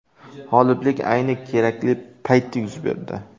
G‘oliblik ayni kerakli paytda yuz berdi.